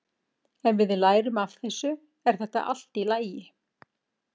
Ef við lærum af þessu er þetta allt í lagi.